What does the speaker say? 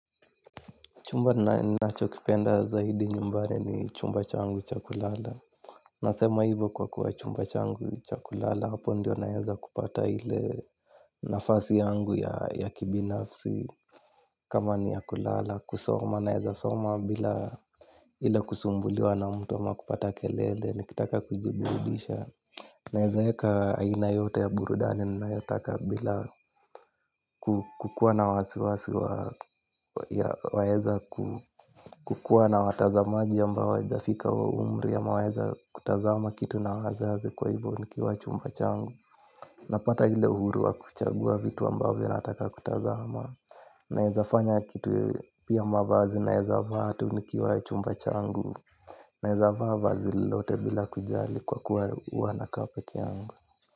Chumba ninachokipenda zaidi nyumbani ni chumba changu cha kulala. Nasema hivyo kwa kuwa chumba changu cha kulala hapo ndiyo naeza kupata ile nafasi yangu ya kibinafsi. Kama ni ya kulala, kusoma naeza soma bila ile kusumbuliwa na mtu ama kupata kelele. Nikitaka kujiburudisha naezaeka aina yoyote ya burudani ninayotaka bila kukuwa na wasiwasi wa waeza ku kukuwa na watazamaji ambao hawajafika huo umri ama waeza kutazama kitu na wazazi kwa hivyo nikiwa chumba changu napata ile uhuru wa kuchagua vitu ambavyo nataka kutazama naezafanya kitu pia mavazi naeza vaa tu nikiwa chumba changu naeza vaa va zilolote bila kujali kwa kuwa huwanakaa pekee yangu.